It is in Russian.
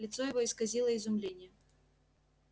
лицо его исказило изумление